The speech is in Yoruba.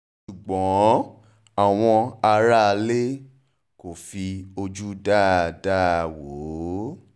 ṣùgbọ́n àwọn aráalé aráalé kò fi ojú dáadáa wò ó